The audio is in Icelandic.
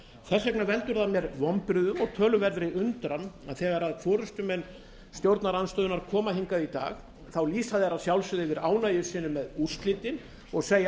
þess vegna veldur mér það vonbrigðum og töluverðri undran að þegar forustumenn stjórnarandstöðunnar koma hingað í dag lýsa þeir að sjálfsögðu yfir ánægju sinni með úrslitin og segja að